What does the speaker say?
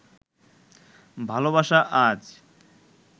ভালোবাসা আজ